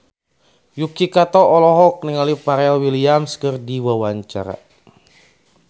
Yuki Kato olohok ningali Pharrell Williams keur diwawancara